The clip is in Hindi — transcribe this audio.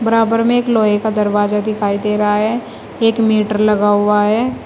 बराबर में एक लोहे का दरवाजा दिखाई दे रहा है एक मीटर लगा हुआ है।